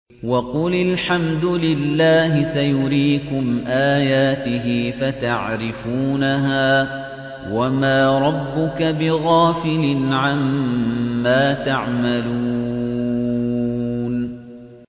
وَقُلِ الْحَمْدُ لِلَّهِ سَيُرِيكُمْ آيَاتِهِ فَتَعْرِفُونَهَا ۚ وَمَا رَبُّكَ بِغَافِلٍ عَمَّا تَعْمَلُونَ